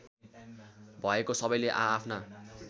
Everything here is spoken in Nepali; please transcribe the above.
भएको सबैले आआफ्ना